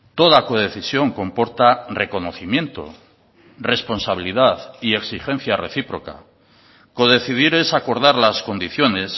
toda codecisión comporta reconocimiento responsabilidad y exigencia recíproca codecidir es acordar las condiciones